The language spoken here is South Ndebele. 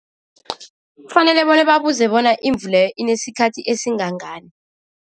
Kufanele bona babuze bona imvu leyo inesikhathi esingangani.